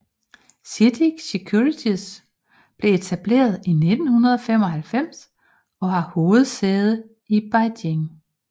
CITIC Securities blev etableret i 1995 og har hovedsæde i Beijing